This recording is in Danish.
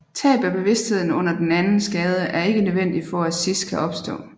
Tab af bevidstheden under den anden skade er ikke nødvendigt for at SIS kan opstå